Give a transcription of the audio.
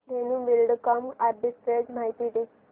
Dhenu Buildcon arbitrage माहिती दे